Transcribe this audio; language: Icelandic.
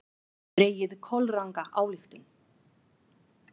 Dregið kolranga ályktun!